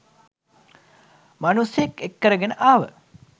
මනුස්සයෙක් එක්කරගෙන ආව